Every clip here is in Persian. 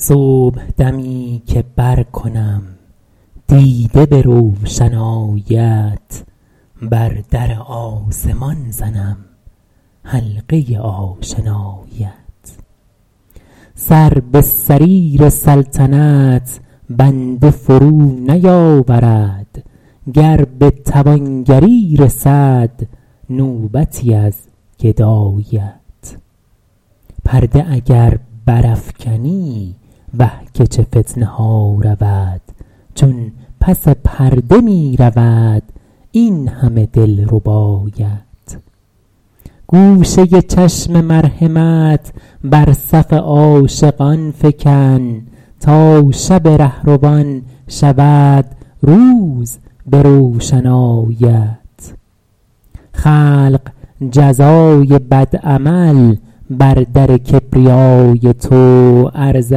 صبحدمی که برکنم دیده به روشناییت بر در آسمان زنم حلقه آشناییت سر به سریر سلطنت بنده فرو نیاورد گر به توانگری رسد نوبتی از گداییت پرده اگر برافکنی وه که چه فتنه ها رود چون پس پرده می رود این همه دلرباییت گوشه چشم مرحمت بر صف عاشقان فکن تا شب رهروان شود روز به روشناییت خلق جزای بد عمل بر در کبریای تو عرضه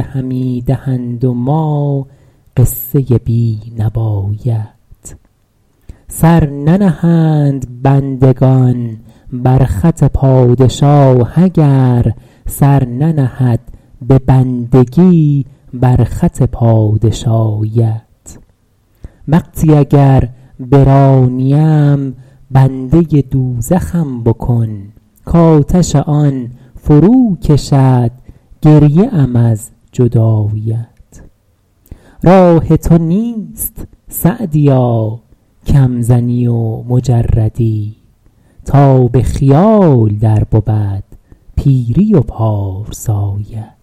همی دهند و ما قصه بی نواییت سر ننهند بندگان بر خط پادشاه اگر سر ننهد به بندگی بر خط پادشاییت وقتی اگر برانیم بنده دوزخم بکن کآتش آن فرو کشد گریه ام از جداییت راه تو نیست سعدیا کم زنی و مجردی تا به خیال در بود پیری و پارساییت